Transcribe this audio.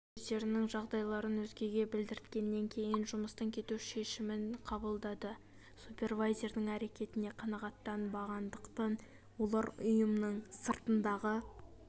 олар өздерінің жағдайларын өзгеге білдірткеннен кейін жұмыстан кету шешімін қабылдады супервайзердің әрекетіне қанағаттанбағандықтан олар ұйымның сыртындағы